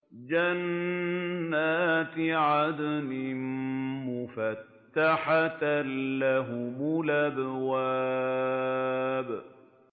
جَنَّاتِ عَدْنٍ مُّفَتَّحَةً لَّهُمُ الْأَبْوَابُ